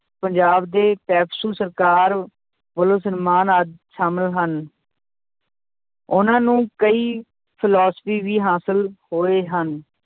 ਪੰਜਾਬ ਦੇ ਪੈਪਸੂ ਸਰਕਾਰ ਵੱਲੋਂ ਸਨਮਾਨ ਆਦਿ ਸ਼ਾਮਿਲ ਹਨ ਉਹਨਾਂ ਨੂੰ ਕਈ philosophy ਵੀ ਹਾਸਿਲ ਹੋਏ ਹਨ।